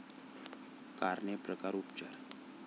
कारणे, प्रकार, उपचार